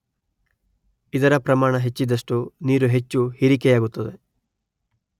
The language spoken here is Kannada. ಇದರ ಪ್ರಮಾಣ ಹೆಚ್ಚಿದಷ್ಟೂ ನೀರು ಹೆಚ್ಚು ಹೀರಿಕೆಯಾಗುತ್ತದೆ.